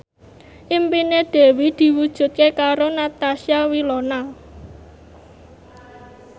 impine Dewi diwujudke karo Natasha Wilona